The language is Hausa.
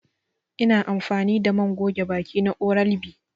I na amfani da man goge baki na oral B.